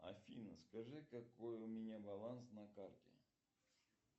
афина скажи какой у меня баланс на карте